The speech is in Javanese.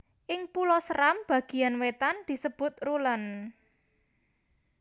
Ing Pulo Seram bagiyan wetan disebut rulen